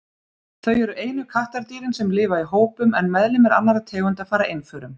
Þau eru einu kattardýrin sem lifa í hópum en meðlimir annarra tegunda fara einförum.